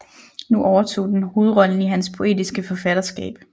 Nu overtog den hovedrollen i hans poetiske forfatterskab